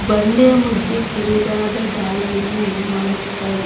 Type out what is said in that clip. ಬಂಡೆಯ ಮದ್ಯ ಕಿರುದಾದ ದಾರಿಯನ್ನು ಮಾಡಿದ್ದಾರೆ.